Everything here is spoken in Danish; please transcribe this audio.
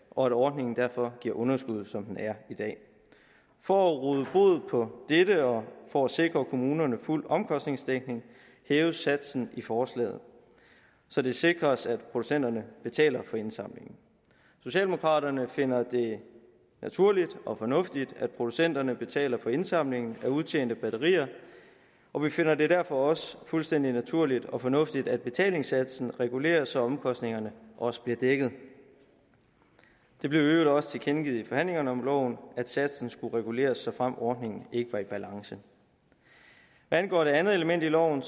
og at ordningen derfor giver underskud som den er i dag for at råde bod på dette og for at sikre kommunerne fuld omkostningsdækning hæves satsen i forslaget så det sikres at producenterne betaler for indsamlingen socialdemokraterne finder det naturligt og fornuftigt at producenterne betaler for indsamlingen af udtjente batterier og vi finder det derfor også fuldstændig naturligt og fornuftigt at betalingssatsen reguleres så omkostningerne også bliver dækket det blev i øvrigt også tilkendegivet i forhandlingerne om loven at satsen skulle reguleres såfremt ordningen ikke var i balance hvad angår det andet element i loven